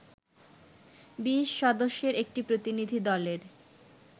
২০ সদস্যের একটি প্রতিনিধি দলের